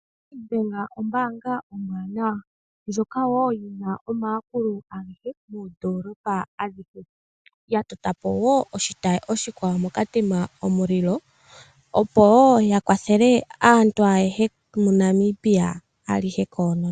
Nedbank ombaanga ombwanawa, ndjoka yi na omayakulo moondolopa adhihe. Oya tota po wo oshitayi, moKatima Mulilo, opo ya kwathele aantu ayehe moNamibia alihe koonono.